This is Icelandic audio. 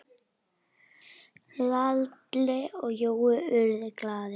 Lalli og Jói urðu glaðir.